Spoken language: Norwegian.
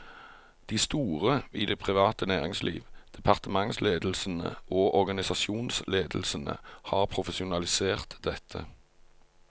De store i det private næringsliv, departementsledelsene og organisasjonsledelsene har profesjonalisert dette.